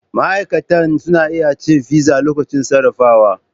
Ma'aikata suna iya cin fizza lokacin sarrafawa.